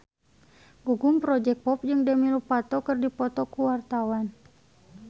Gugum Project Pop jeung Demi Lovato keur dipoto ku wartawan